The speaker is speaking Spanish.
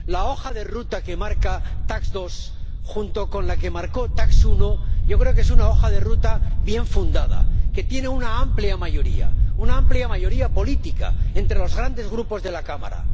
La hoja de ruta que marca TAXE 2, junto con la que marcó TAXE 1, yo creo que es una hoja de ruta bien fundada, que tiene una amplia mayoría, una amplia mayoría política entre los grandes grupos de la Cámara.